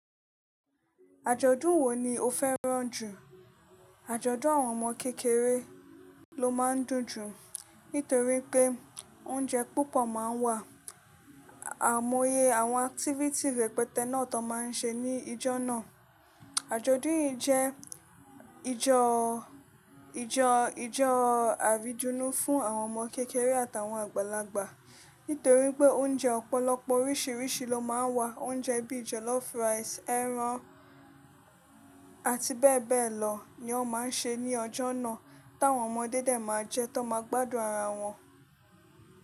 Àjọ̀dún wo ni o fẹ́ràn jù? Àjọ̀dún àwọn ọmọ kékeré ló máa ń dùn jù, nítorí pé oúnjẹ púpọ̀ máa ń wà, àimóye àwọn activities rẹpẹtẹ náà tan máa ń ṣe ní ijó náà. Àjọ̀dún yìí jẹ́ ijó, ijó, ijó àrídunnu fún àwọn ọmọ kékeré àtàwọn àgbàlagbà. Nítorí pé oúnjẹ ọ̀pọ̀lọpọ̀ oríṣiríṣi ló máa ń wà. Oúnjẹ bíi jollof rice, ẹran àti bẹ́ẹ̀ bẹ́ẹ̀ lọ ni wọn máa ń ṣe ní ọjọ́ náà, tí àwọn ọmọdé dé máa jẹ, ti won máa gbádùn ara wọn.